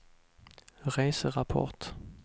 reserapport